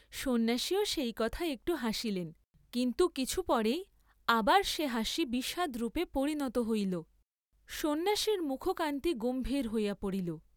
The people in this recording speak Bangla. সন্ন্যাসীও সেই কথায় একটু হাসিলেন, কিন্তু কিছু পরেই আবার সে হাসি বিষাদরূপে পরিণত হহল, সন্ন্যাসীর মুখকান্তি গম্ভীর হইয়া পড়িল।